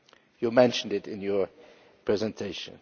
You mentioned it in your presentation.